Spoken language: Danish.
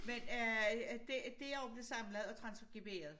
Men øh det det er jo blevet samlet og transkriberet